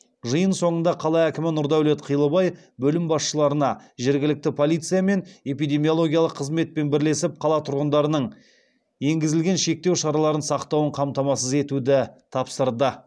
жиын соңында қала әкімі нұрдәулет қилыбай бөлім басшыларына жергілікті полициямен эпидемиологиялық қызметпен бірлесіп қала тұрғындарының енгізілген шектеу шараларын сақтауын қамтамасыз етуді тапсырды